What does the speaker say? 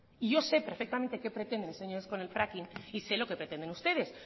y yo sé perfectamente qué pretenden estos señores con el fracking y sé lo que pretenden ustedes